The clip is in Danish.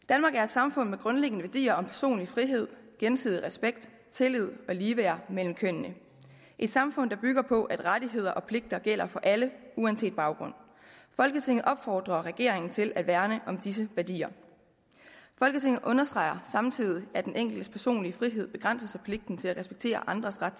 danmark er et samfund med grundlæggende værdier om personlig frihed gensidig respekt tillid og ligeværd mellem kønnene et samfund der bygger på at rettigheder og pligter gælder for alle uanset baggrund folketinget opfordrer regeringen til at værne om disse værdier folketinget understreger samtidig at den enkeltes personlige frihed begrænses af pligten til at respektere andres ret